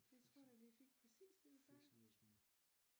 Det tror jeg da vi fik præcis